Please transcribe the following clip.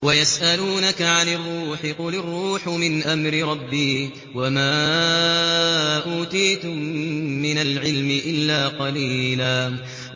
وَيَسْأَلُونَكَ عَنِ الرُّوحِ ۖ قُلِ الرُّوحُ مِنْ أَمْرِ رَبِّي وَمَا أُوتِيتُم مِّنَ الْعِلْمِ إِلَّا قَلِيلًا